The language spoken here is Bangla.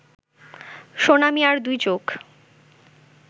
সোনা মিয়ার দুই চোখ